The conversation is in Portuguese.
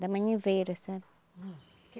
Da maniveira, sabe?